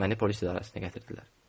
Məni polis idarəsinə gətirdilər.